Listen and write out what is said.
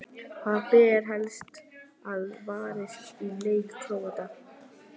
Hvað ber helst að varast í leik Króata?